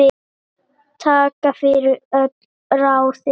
Takk fyrir öll ráðin.